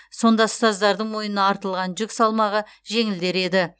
сонда ұстаздардың мойнына артылған жүк салмағы жеңілдер еді